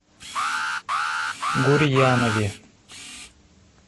гурьянове